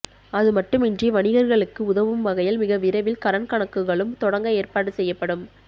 அதுமட்டுமின்றி வணிகர்களுக்கு உதவும் வகையில் மிக விரைவில் கரண்ட் கணக்குகளும் தொடங்க ஏற்பாடு செய்யப்படும்